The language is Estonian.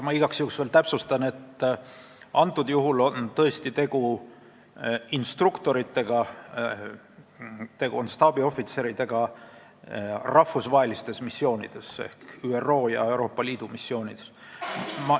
Ma igaks juhuks veel täpsustan, et antud juhul on tõesti tegu instruktoritega ja staabiohvitseridega rahvusvahelistel missioonidel ehk ÜRO ja Euroopa Liidu missioonidel.